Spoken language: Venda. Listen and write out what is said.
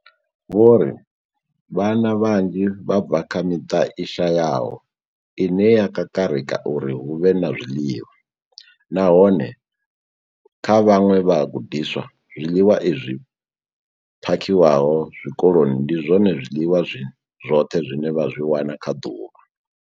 Vho ri, Vhana vhanzhi vha bva kha miṱa i shayaho ine ya kakarika uri hu vhe na zwiḽiwa, nahone kha vhaṅwe vhagudiswa, zwiḽiwa izwi phakhiwaho tshikoloni ndi zwone zwiḽiwa zwi zwoṱhe zwine vha zwi wana kha ḓuvha.